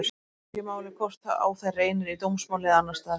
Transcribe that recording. Skiptir þá ekki máli hvort á þær reynir í dómsmáli eða annars staðar.